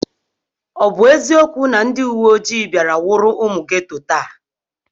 Ọ bụ eziokwu na ndị uweoji bịara nwụrụ ụmụ geto taa?